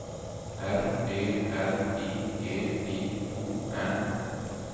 R E L I G I O N